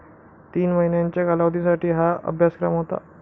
तीन महिन्यांच्या कालावधीसाठी हा अभ्यासक्रम होता.